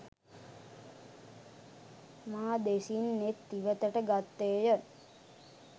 මා දෙසින් නෙත් ඉවතට ගත්තේය.